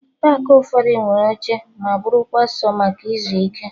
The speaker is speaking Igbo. Paakị ụfọdụ nwere oche ma bụrụkwa sọ maka ịzụ ike